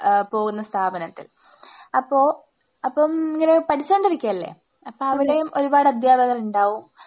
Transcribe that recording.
ആഹ് പോകുന്ന സ്ഥാപനത്തിൽ അപ്പോ അപ്പം ഇങ്ങനെ പഠിച്ചോണ്ടിരിക്കയല്ലേ? അപ്പം അവിടെയും ഒരുപാട് അധ്യാപകരുണ്ടാവും.